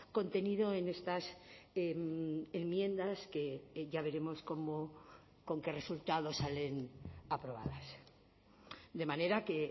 contenido en estas enmiendas que ya veremos cómo con qué resultado salen aprobadas de manera que